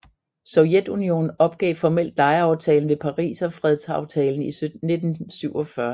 Sovjetunionen opgav formelt lejeaftalen ved Pariserfredsaftalen i 1947